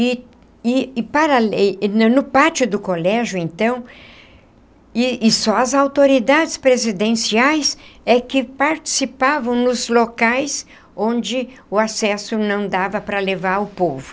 E e e parale e no pátio do colégio, então, e e só as autoridades presidenciais é que participavam nos locais onde o acesso não dava para levar o povo.